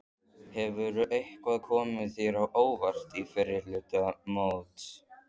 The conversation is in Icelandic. Hefur eitthvað komið þér á óvart í fyrri hluta móts?